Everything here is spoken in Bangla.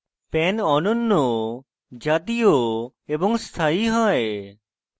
pan অনন্য জাতীয় এবং স্থায়ী হয়